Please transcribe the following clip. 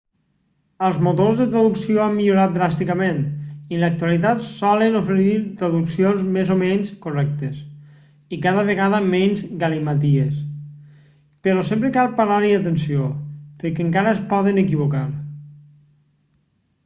els motors de traducció han millorat dràsticament i en l'actualitat solen oferir traduccions més o menys correctes i cada vegada menys galimaties però sempre cal parar-hi atenció perquè encara es poden equivocar